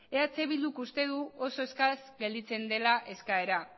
eh bilduk uste du oso eskas gelditzen dela eskaera